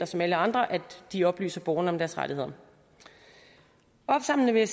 som af alle andre at de oplyser borgerne om deres rettigheder opsamlende vil